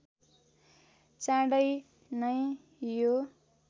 चाँडै नै यो